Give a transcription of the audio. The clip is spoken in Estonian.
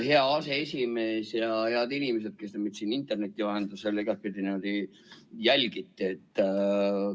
Hea aseesimees ja head inimesed, kes te meid siin interneti vahendusel ja igatpidi jälgite!